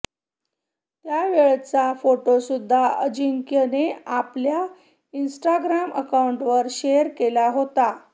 त्यावेळचा फोटोसुद्धा अजिंक्यने आपल्या इन्स्टाग्राम अकाऊंटवर शेअर केला होता